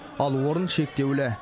ал орын шектеулі